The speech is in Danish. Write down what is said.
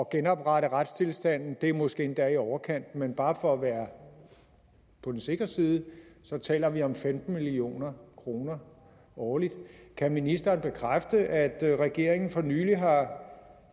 genoprette retstilstanden det er måske endda i overkanten men bare for at være på den sikre side så taler vi om femten million kroner årligt kan ministeren bekræfte at regeringen for nylig har